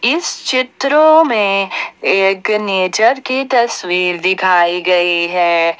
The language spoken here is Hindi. इस चित्रों में एक नेचर की तस्वीर दिखाई गई है।